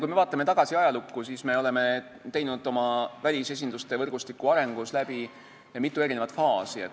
Kui me vaatame tagasi ajalukku, siis me näeme, et me oleme teinud oma välisesinduste võrgustiku arengus läbi mitu faasi.